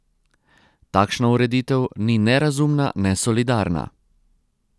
Takšna ureditev ni ne razumna ne solidarna!